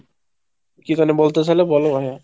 কি যেন বলতে চাইলে বলো ভাইয়া।